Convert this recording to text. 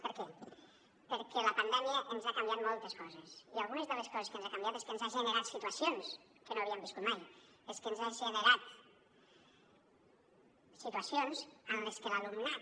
per què perquè la pandèmia ens ha canviat moltes coses i algunes de les coses que ens ha canviat és que ens ha generat situacions que no havíem viscut mai és que ens ha generat situacions en les que l’alumnat